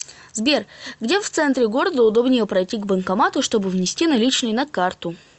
сбер где в центре города удобнее пройти к банкомату чтобы внести наличные на карту